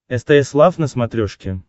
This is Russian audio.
стс лав на смотрешке